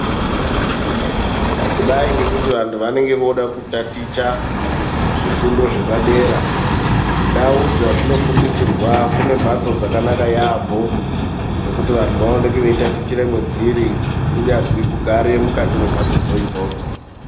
Kudai ngekuti vantu vanenge voda kutaticha zvifundo zvepadera. Ndawo dzazvino fundisirwa kunembatso dzakanaka yambo dzekuti vanhu vawoneke veyitatichira mudziri kunyazvi kugare mukati mumbatso dzodzo.